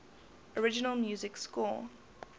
original music score